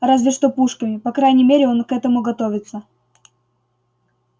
разве что пушками по крайней мере он к этому готовится